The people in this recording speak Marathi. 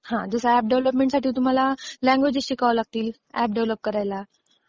जसं एप डेव्हलपमेंटसाठी तुम्हाला लँग्वेजेस शिकाव्या लागतील एप डेव्हलप करायला.